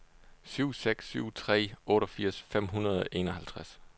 syv seks syv tre otteogfirs fem hundrede og enoghalvtreds